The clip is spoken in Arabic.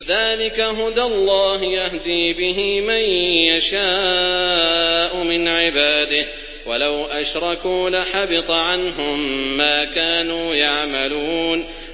ذَٰلِكَ هُدَى اللَّهِ يَهْدِي بِهِ مَن يَشَاءُ مِنْ عِبَادِهِ ۚ وَلَوْ أَشْرَكُوا لَحَبِطَ عَنْهُم مَّا كَانُوا يَعْمَلُونَ